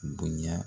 Bonya